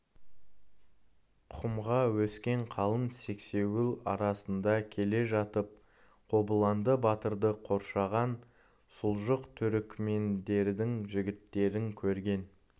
құмға өскен қалың сексеуіл арасында келе жатып қобыланды батырды қоршаған сұлжық түрікмендердің жігіттерін көрген